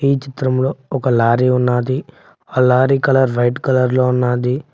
ఈ చిత్రంలో ఒక లారీ ఉన్నాది ఆ లారీ కలర్ వైట్ కలర్ లో ఉన్నాది.